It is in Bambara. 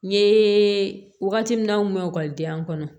N ye wagati min na mɛn ekɔlidenya kɔnɔ